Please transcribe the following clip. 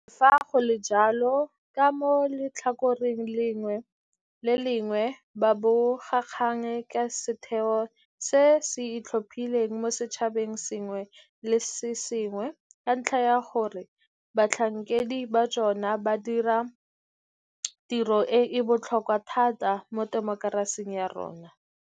Le fa go le jalo, ka mo letlhakoreng le lengwe bobegakgang ke setheo se se itlhophileng mo setšhabeng se sengwe le se sengwe ka ntlha ya gore batlhankedi ba jone ba dira tiro e e botlhokwa thata mo temokerasing ya rona.